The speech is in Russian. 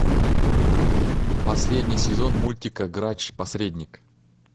последний сезон мультика грач посредник